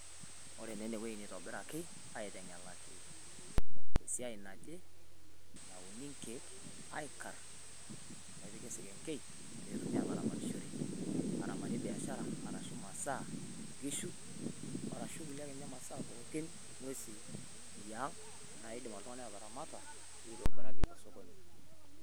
wore naa ene nitobiraki aiteng'elaki esiai naje nawuuni nkeek aikarr nepiki esekenkei petumi ataramatishore aramatie biashara aashu masaa nkishu arashu kulie masaa ake ninye pookin ng'uesi eang naidim oltungani ataramata pitobiraki osokoni